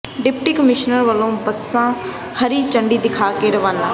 deputy commissioner ਵਲੋਂ ਬੱਸਾਂ ਹਰੀ ਝੰਡੀ ਦਿਖਾ ਕੇ ਰਵਾਨਾ